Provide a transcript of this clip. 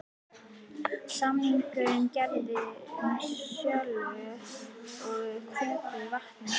Samningur gerður um sölu á heitu vatni frá